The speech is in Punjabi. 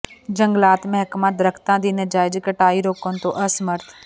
ਜੰਗਲਾਤ ਮਹਿਕਮਾ ਦਰੱਖਤਾਂ ਦੀ ਨਾਜਾਇਜ਼ ਕਟਾਈ ਰੋਕਣ ਤੋਂ ਅਸਮਰਥ